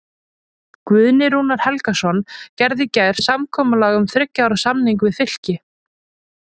Guðni Rúnar Helgason gerði í gær samkomulag um þriggja ára samning við Fylki.